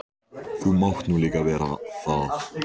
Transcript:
Þú mátt nú líka vera það.